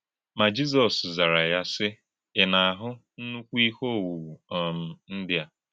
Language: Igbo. Má Jìzọ́s zárà ya, sì: Ị̀ na-ahụ̀ ńnùkú íhè òwụ̀wụ̀ um ndí a?